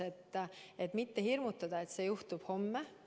Me ei taha hirmutada, et see juhtub homme.